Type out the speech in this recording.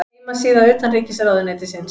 Heimasíða utanríkisráðuneytisins.